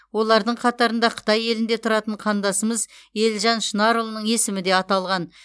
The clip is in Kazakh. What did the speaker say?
олардың қатарында қытай елінде тұратын қандасымыз елжан шынарұлының есімі де аталған